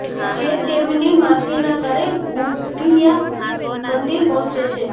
જે તેમની માસીના ઘરે ગુંડીચા મંદિર પહોંચે છે